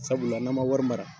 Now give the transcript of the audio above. Sabula n'an man wari mara.